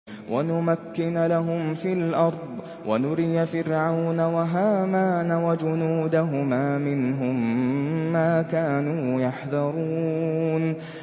وَنُمَكِّنَ لَهُمْ فِي الْأَرْضِ وَنُرِيَ فِرْعَوْنَ وَهَامَانَ وَجُنُودَهُمَا مِنْهُم مَّا كَانُوا يَحْذَرُونَ